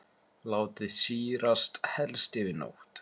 Látið sýrast helst yfir nótt.